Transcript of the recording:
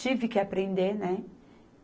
Tive que aprender, né?